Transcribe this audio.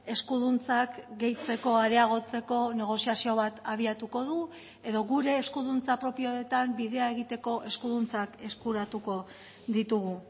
eskuduntzak gehitzeko areagotzeko negoziazio bat abiatuko du edo gure eskuduntza propioetan bidea egiteko eskuduntzak eskuratuko ditugu